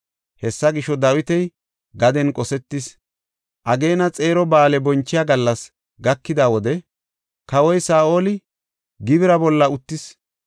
Hessa gisho, Dawiti gaden qosetis. Ageena xeero ba7aale bonchiya gallas gakida wode kawoy Saa7oli gibira bolla uttis.